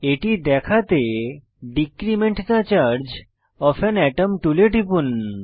এটি দেখাতে decrement the charge of an atom টুলে টিপুন